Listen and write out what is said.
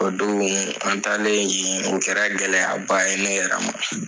O don an taalen yen o kɛra gɛlɛya ba ye ne yɛrɛ ma.